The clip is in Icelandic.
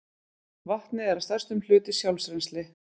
Vatnið er að stærstum hluti sjálfrennsli